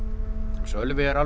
Sölvi er alveg